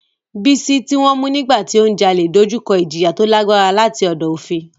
Bisola, tí wọ́n mú nígbà tí ó ń jalè, dojú kọ ìjìyà tó lágbára láti ọ̀dọ̀ òfin.